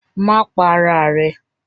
Má pa ara rẹ!